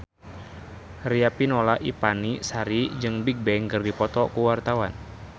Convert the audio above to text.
Riafinola Ifani Sari jeung Bigbang keur dipoto ku wartawan